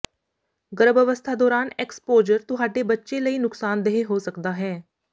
ਗਰਭ ਅਵਸਥਾ ਦੌਰਾਨ ਐਕਸਪੋਜਰ ਤੁਹਾਡੇ ਬੱਚੇ ਲਈ ਨੁਕਸਾਨਦੇਹ ਹੋ ਸਕਦਾ ਹੈ